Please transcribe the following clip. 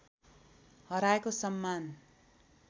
हराएको सम्मान